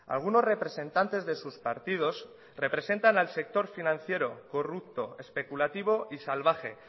algunos representantes de sus partidos representan al sector financiero corrupto especulativo y salvaje